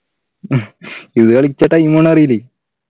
ഇതു കളിച്ച time പോണത് അറിയില്ലേ